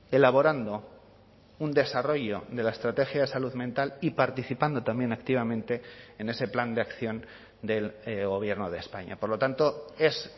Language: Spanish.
elaborando un desarrollo de la estrategia de salud mental y participando también activamente en ese plan de acción del gobierno de españa por lo tanto es